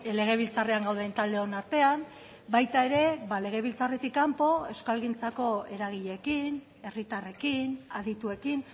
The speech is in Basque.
legebiltzarrean gauden taldeon artean baita ere legebiltzarretik kanpo euskalgintzako eragileekin herritarrekin adituekin